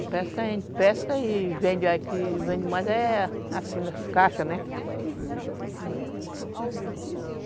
A pesca a gente pesca e vende aqui, mas é assim, nos caixas, né?